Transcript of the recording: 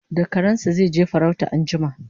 da karansa zaije farauta anjima